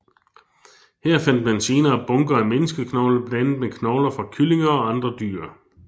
Her fandt man senere bunker af menneskeknogler blandet med knogler fra kyllinger og andre dyr